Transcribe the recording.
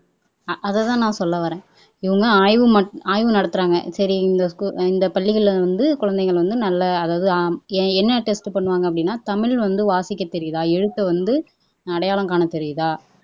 அஅதைதான் நான் சொல்ல வரேன் இவங்க ஆய்வு நடத்துறாங்க சரி இந்த ஸ்கூல் பள்ளிகள்ல வந்து குழந்தைகள் நல்ல அதாவது என்ன டெஸ்ட் பண்ணுவாங்க அப்படின்னா தமிழ் வந்து வாசிக்க தெரியுதா எழுத்த வந்து அடையாளம் காணத்தெரியுதா